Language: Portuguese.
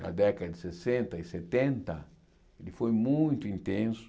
Na década de sessenta e setenta, ele foi muito intenso.